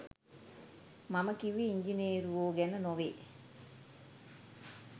මම කිව්වේ ඉංජිනේරුවෝ ගැන නොවේ